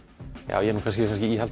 já ég er kannski